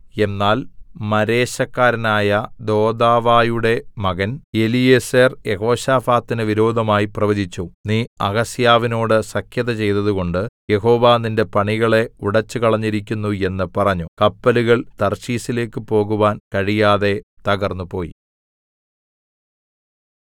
എന്നാൽ മാരേശക്കാരനായ ദോദാവയുടെ മകൻ എലീയേസെർ യെഹോശാഫാത്തിന് വിരോധമായി പ്രവചിച്ചു നീ അഹസ്യാവിനോട് സഖ്യത ചെയ്തതുകൊണ്ട് യഹോവ നിന്റെ പണികളെ ഉടെച്ചുകളഞ്ഞിരിക്കുന്നു എന്ന് പറഞ്ഞു കപ്പലുകൾ തർശീശിലേക്കു പോകുവാൻ കഴിയാതെ തകർന്നുപോയി